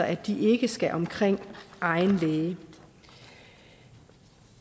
at de ikke skal omkring egen læge